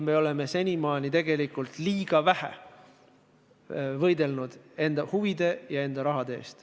Me oleme senimaani tegelikult liiga vähe võidelnud enda huvide ja oma raha eest.